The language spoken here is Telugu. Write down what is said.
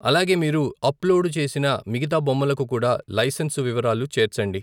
అలాగే మీరు అప్లోడు చేసిన మిగతా బొమ్మలకు కూడా లైసెన్సు వివరాలు చేర్చండి.